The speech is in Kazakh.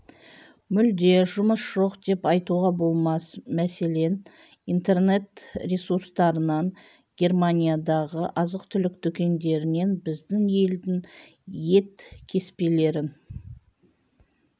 мүлде жұмыс жоқ деп айтуға болмас мәселен интернет ресурстарынан германиядағы азық-түлік дүкендерінен біздің елдің ет кеспелерін